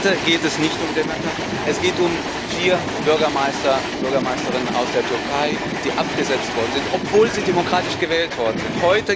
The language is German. Heute geht es nicht um Demirtaş, es geht um vier Bürgermeister und Bürgermeisterinnen aus der Türkei, die abgesetzt worden sind, obwohl sie demokratisch gewählt worden sind.